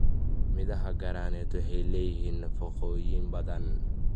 Midhaha granate waxay leeyihiin nafaqooyin badan.